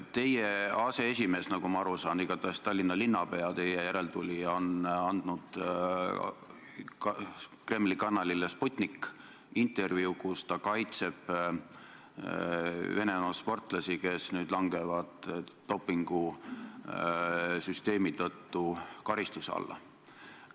Teie erakonna aseesimees, Tallinna linnapea, teie järeltulija on andnud Kremli kanalile Sputnik intervjuu, kus ta kaitseb Venemaa sportlasi, kes nüüd langevad dopingusüsteemi tõttu karistuse alla.